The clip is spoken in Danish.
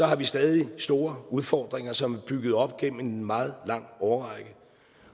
har vi stadig store udfordringer som er bygget op gennem en meget lang årrække